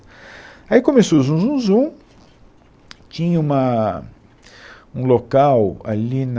Aí começou o zum zum zum, tinha uma, um local ali na...